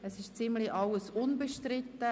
Es ist beinahe alles unbestritten.